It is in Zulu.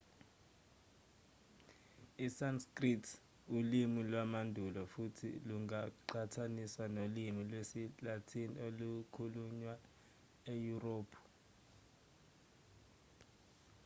isanskrit ulimi lwamandulo futhi lungaqhathaniswa nolimi lwesilatin olukhulunywa eyurophu